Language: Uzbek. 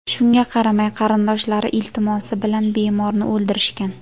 Shunga qaramay, qarindoshlari iltimosi bilan bemorni o‘ldirishgan.